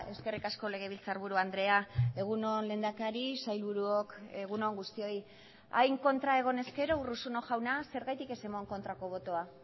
eskerrik asko legebiltzarburu andrea egun on lehendakari sailburuok egun on guztioi hain kontra egon ezkero urruzuno jauna zergatik ez eman kontrako botoa